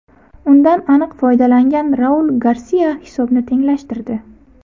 Undan aniq foydalangan Raul Garsia hisobni tenglashtirdi.